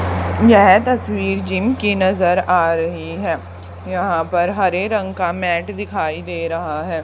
यह तस्वीर जिम की नजर आ रही है यहां पर हरे रंग का मैट दिखाई दे रहा है।